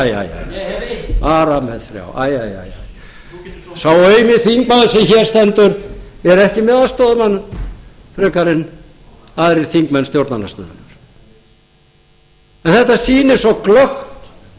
bara með þrjá sá eini þingmaður sem hér stendur er ekki með aðstoðarmann frekar en aðrir þingmenn stjórnar en